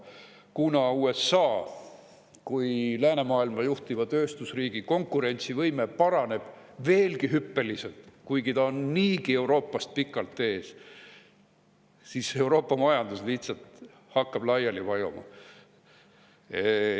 Kuna USA kui läänemaailma juhtiva tööstusriigi konkurentsivõime paraneb hüppeliselt veelgi – kuigi ta on niigi Euroopast pikalt ees –, hakkab Euroopa majandus lihtsalt laiali vajuma.